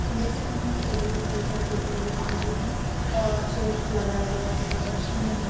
हम देख सकते है इनके टेबल पर कई सारे पेपर वगैरह मौजूद है और चेयर लगाए गये हैं और मशीने है।